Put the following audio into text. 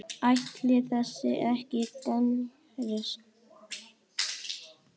Ætli það ekki annars.